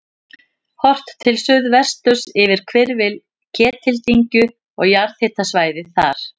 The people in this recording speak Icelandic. Horft til suðvesturs yfir hvirfil Ketildyngju og jarðhitasvæðið þar.